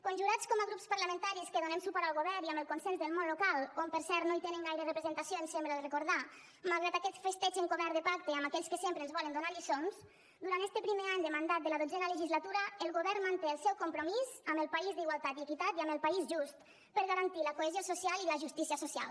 conjurats com a grups parlamentaris que donem suport al govern i amb el consens del món local on per cert no hi tenen gaire representació em sembla recordar malgrat aquest festeig encobert de pacte amb aquells que sempre ens volen donar lliçons durant este primer any de mandat de la dotzena legislatura el govern manté el seu compromís amb el país d’igualtat i equitat i amb el país just per garantir la cohesió social i la justícia social